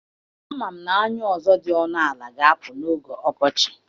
Ama m na anyụ ọzọ dị ọnụ ala ga-apụ n'oge ọkọchị